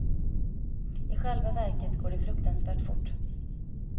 I själva verket går det fruktansvärt fort.